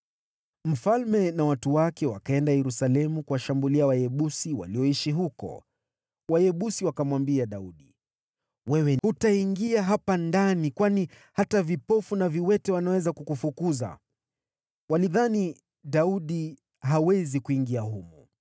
Mfalme na watu wake wakaenda Yerusalemu kuwashambulia Wayebusi walioishi humo. Wayebusi wakamwambia Daudi, “Wewe hutaingia humu, kwani hata vipofu na viwete wanaweza kukufukuza.” Walidhani, “Daudi hawezi kuingia humu.”